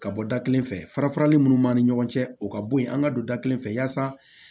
Ka bɔ da kelen fɛ fara farali munnu b'an ni ɲɔgɔn cɛ o ka bo yen an ga don da kelen fɛ yasa